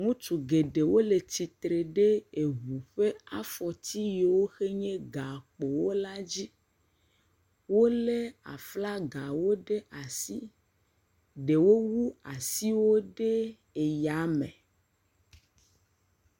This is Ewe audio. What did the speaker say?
ŋutsu gɛɖɛwo le atsitre ɖɛ eʋu ƒa fɔtsi yewo xe nye gakpowo la dzi wóle aflagawo ɖe asi ɖewo wu asiwo ɖe yame